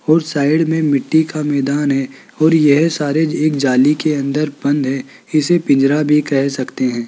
ओर side में मिट्टी का मैदान है और यह सारे एक जाली के अंदर बंद है इसे पिंजरा भी कह सकते हैं।